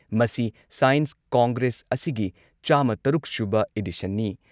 ꯃꯁꯤ science congress ꯑꯁꯤꯒꯤ ꯆꯥꯝꯃ ꯇꯔꯨꯛ ꯁꯨꯕ ꯏꯗꯤꯁꯟꯅꯤ ꯫